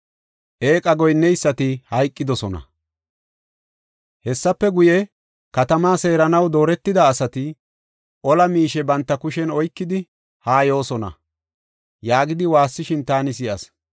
Hessafe guye, “Katamaa seeranaw dooretida asati, ola miishe banta kushen oykidi haa yoosona” yaagidi waassishin taani si7as.